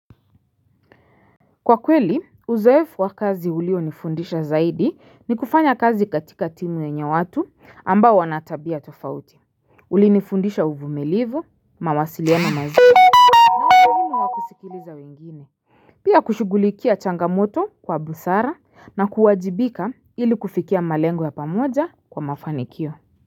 Kwa kweli uzoefu wa kazi ulio nifundisha zaidi ni kufanya kazi katika timu yenye watu ambao wanatabia tofauti. Uli nifundisha uvumilivu, mawasiliano mazuri, sikuliza wengine. Pia kushughulikia changamoto kwa busara na kuwajibika ili kufikia malengo ya pamoja kwa mafanikio.